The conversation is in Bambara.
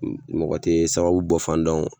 N n mɔgɔ te sababu bɔ fan dɔn o